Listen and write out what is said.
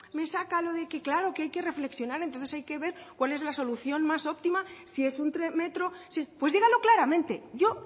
me saca lo de que claro que es que hay que reflexionar entonces hay que ver cuál es la solución más óptima si es entre metro pues dígalo claramente yo